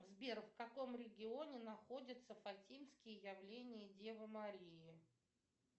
сбер в каком регионе находится фатимские явления девы марии